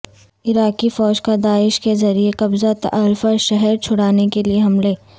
عراقی فوج کا داعش کے زیر قبضہ تلعفر شہر چھڑانے کے لیے حملہ